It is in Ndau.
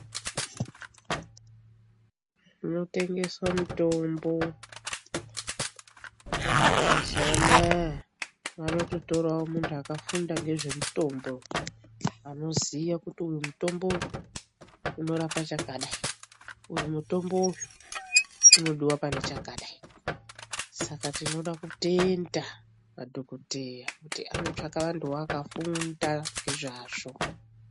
Munotengeswa mitombo mazuwanaya vanototorawo muntu akafunda ngezvemutombo anoziya kuti uyu mutombo uyu inorapa chakadai, uyu mutombo uyu inodiwa pane chakadai Saka tinoda kutoenda madhokodheya kuti anotsvaka vantuwo vakafunda ngezvazvo.